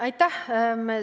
Aitäh!